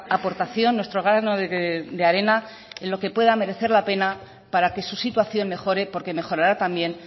aportación nuestro grano de arena en lo que pueda merecer la pena para que su situación mejore porque mejorará también